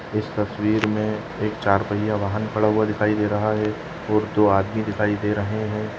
इस तस्वीर मे एक चार पहिया वाहन खड़ा हुआ दिखाई दे रहा है और दो आदमी दिखाई दे रहे है।